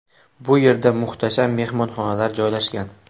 Bu yerda muhtasham mehmonxonalar joylashgan.